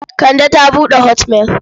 Kande ta buɗe hotmail.